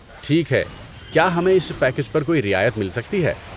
ٹھیک ہے۔ کیا ہمیں اس پیکیج پر کوئی رعایت مل سکتی ہے؟